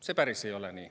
See päris nii ei ole.